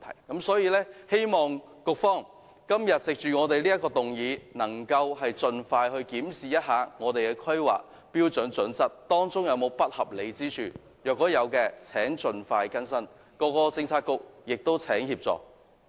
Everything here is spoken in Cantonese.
因此，我希望局方因應今天這項議案，能夠盡快檢視《規劃標準》當中是否有不合理之處；若有，請局方盡快更新，亦請其他政策局提供協助。